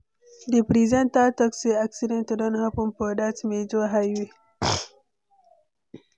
Di presenter talk sey accident don happen for dat major highway.